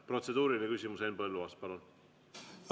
Protseduuriline küsimus, Henn Põlluaas, palun!